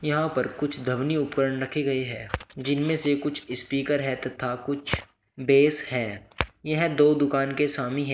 यहां पर कुछ ध्वनि उपकरण रखे गई है जिनमें से कुछ स्पीकर है तथा कुछ बेस है यह दो दुकान के स्वामी है।